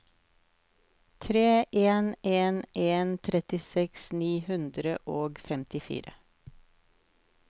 tre en en en trettiseks ni hundre og femtifire